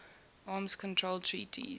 arms control treaties